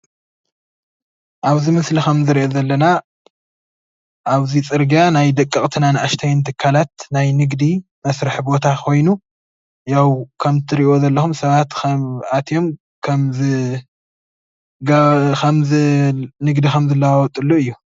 ኣብዚ ምስሊ ንሪኦ ከምዘለና ኣብዚ ፅርጊያ ናይ ደቀቕትን ኣናእሽተይን ትካላት ናይ ንግዲ መስርሒ ቦታ ኾይኑ ያው ከምትሪእዎ ዘለኹም ሰባት ኣትዮም ንግዲ ከምዝለዋወጥሉ እዩ፡፡